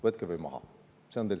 Võtke või maha!